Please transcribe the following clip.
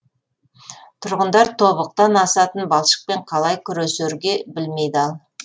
тұрғындар тобықтан асатын балшықпен қалай күресерге білмей дал